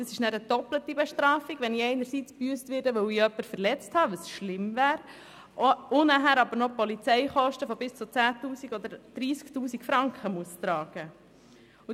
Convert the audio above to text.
Es wäre eine doppelte Bestrafung, wenn ich einerseits gebüsst werde, weil ich jemanden verletzt habe – was schlimm wäre – und dann noch die Polizeikosten von bis zu 10 000 oder 30 000 Franken tragen müsste.